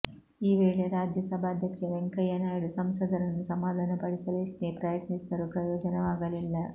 ಈ ವೇಳೆ ರಾಜ್ಯಸಭಾಧ್ಯಕ್ಷ ವೆಂಕಯ್ಯ ನಾಯ್ಡು ಸಂಸದರನ್ನು ಸಮಾಧಾನಪಡಿಸಲು ಎಷ್ಟೇ ಪ್ರಯತ್ನಿಸಿದರೂ ಪ್ರಯೋಜನವಾಗಲಿಲ್ಲ